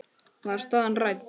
Var staðan rædd?